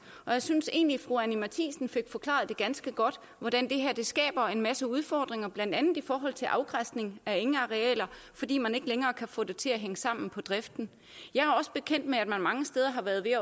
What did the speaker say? og jeg synes egentlig fru anni matthiesen fik forklaret ganske godt hvordan det her skaber en masse udfordringer blandt andet i forhold til afgræsning af engarealer fordi man ikke længere kan få det til at hænge sammen på driften jeg er også bekendt med at man mange steder har været ved